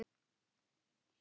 Langri samferð er lokið.